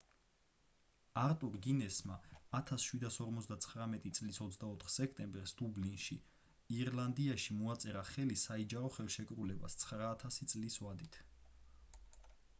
არტურ გინესმა 1759 წლის 24 სექტემბერს დუბლინში ირლანდიაში მოაწერა ხელი საიჯარო ხელშეკრულებას 9,000 წლის ვადით